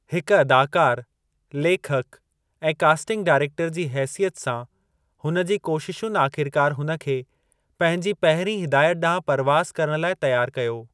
हिक अदाकार लेखक ऐं कास्टिंग डाइरेक्टरु जी हेसियत सां हुन जी कोशिशुनि आख़िरकार हुन खे पंहिंजी पहिरीं हिदायत ॾांहुं परवाज़ करणु लाइ तयारु कयो।